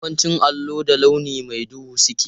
Yawancin allo da launi mai duhu suke.